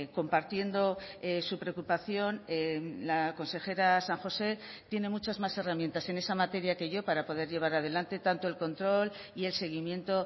compartiendo su preocupación la consejera san josé tiene muchas más herramientas en esa materia que yo para poder llevar adelante tanto el control y el seguimiento